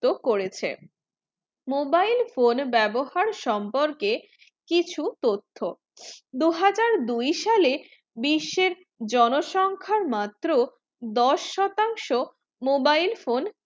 তো করেছে mobile phone বেবহার সম্পর্কে কিছু তথ্য দুই হাজার দুই সালে বিষের জনসখ্যা মাত্র দশ শতাংশ mobile phone